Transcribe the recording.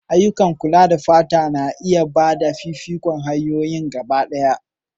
Ayyukan kula da fata na gaba na iya ba da fifikon hanyoyin gabaɗaya.